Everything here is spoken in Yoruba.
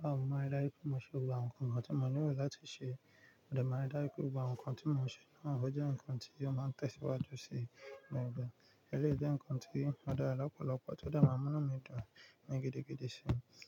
Mo maa n like ki mò ṣe gbogbo awon nǹkan tí mò ń nílò láti ṣe. Mo dẹ máa n ri dáju pé gbògbo awon nǹkan tí mò ń ṣe náà ó jẹ́ nǹkan tí ó máa tẹ̀síwájú sí mi nígbà. Eléyìí jẹ́ nnkan tí o dara lọ́pọ̀lọ́pọ̀ tó de maa n múnú mi dùn ní gidigidi sí i.